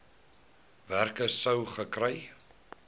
werker sou gekry